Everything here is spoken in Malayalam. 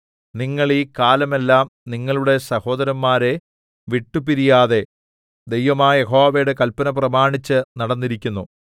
നിങ്ങൾ ഈ കാലമെല്ലാം നിങ്ങളുടെ സഹോദരന്മാരെ വിട്ടുപിരിയാതെ ദൈവമായ യഹോവയുടെ കല്പന പ്രമാണിച്ചു നടന്നിരിക്കുന്നു